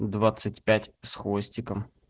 двадцать пять с хвостиком